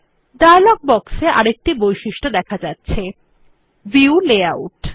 dialogue বক্সে আরেকটি বৈশিষ্ট দেখা যাচ্ছে ভিউ লেআউট